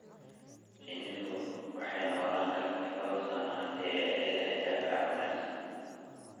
Shinnidu waxay noolaan kartaa dhowr sano haddii ay leedahay difaac wanaagsan.